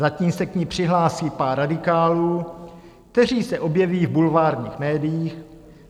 Zatím se k ní přihlásí pár radikálů, kteří se objeví v bulvárních médiích.